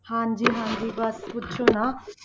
ਹਾਂਜੀ ਹਾਂਜੀ ਬਸ ਪੁੱਛੋ ਨਾ।